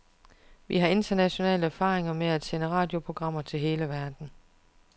Vi har international erfaring med at sende radioprogrammer til hele verden.